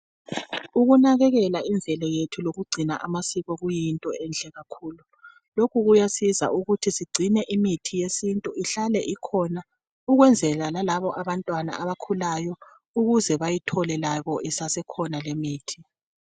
Ukunakekela imvelo yethu lokugcina amasiko kuyinto enhle kakhulu. Lokhu kuyasiza ukuthi sigcine imithi yesintu ihlale ikhona ukwenzala lalabo abantwana abakhulayo ukuze bayithole labo isasekhona limithi